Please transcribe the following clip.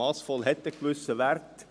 Massvoll hat einen gewissen Wert.